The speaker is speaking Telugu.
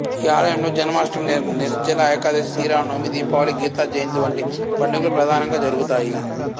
ఈ ఆలయంలో జన్మాష్ఠమి నిర్జల ఏకాదశి శ్రీరామ నవమి దీపావళి గీత జయంతి వంటి పండుగలు ప్రధానంగా జరుగుతాయి